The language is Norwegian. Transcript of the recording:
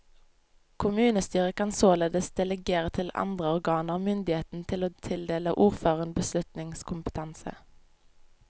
Kommunestyret kan således delegere til andre organer myndigheten til å tildele ordføreren beslutningskompetanse.